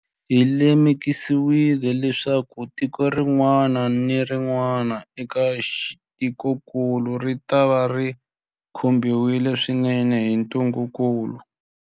Hi lemukile leswaku tiko rin'wana na rin'wana eka tikokulu ritava ri khumbiwile swinene hi ntungukulu.